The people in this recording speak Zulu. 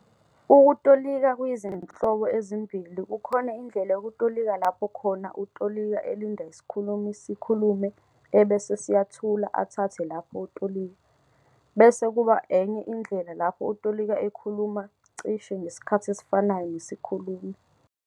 Ukutolika kuyizinhlobo ezimbili kukhona indlela yokutolika lapho khona utolika elinda isikhulumi sikhulume ebese siyathula athathe lapho utolika, bese kuba enye indlela lapho utolika ekhuluma "cishe" ngesikhathi esifanayo nesikhulumi.